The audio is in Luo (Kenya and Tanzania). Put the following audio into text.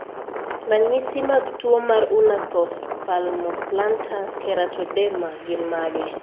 Ranyisi mag tuwo mar Unna Thost palmoplantar keratoderma gin mage?